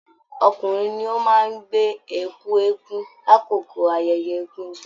Ọkùnrin ní o máa n gbè ẹkú eégún l'akoko ayẹyẹ egúngún.